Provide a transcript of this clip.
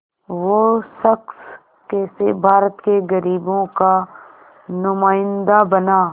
वो शख़्स कैसे भारत के ग़रीबों का नुमाइंदा बना